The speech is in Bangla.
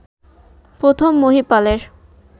প্রথম মহীপালের